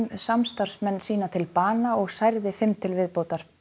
samstarfsmenn sína til bana og særði fimm til viðbótar